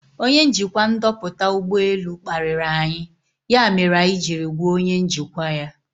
Ọnye njikwa ndoputa ụgbọ elu kpariri anyi ya mere anyị jiri gwa onye njikwa ya.